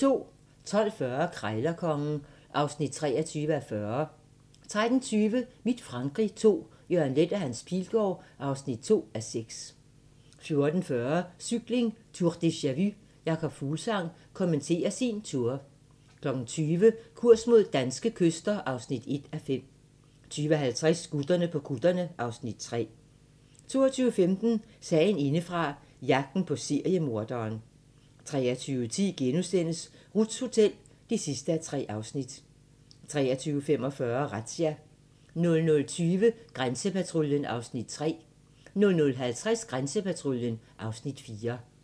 12:40: Krejlerkongen (23:40) 13:20: Mit Frankrig II - Jørgen Leth & Hans Pilgaard (2:6) 14:40: Cykling: Tour deja-vu - Jakob Fuglsang kommenterer sin Tour 20:00: Kurs mod danske kyster (1:5) 20:50: Gutterne på kutterne (Afs. 3) 22:15: Sagen indefra - jagten på seriemorderen 23:10: Ruths Hotel (3:3)* 23:45: Razzia 00:20: Grænsepatruljen (Afs. 3) 00:50: Grænsepatruljen (Afs. 4)